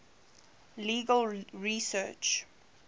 legal research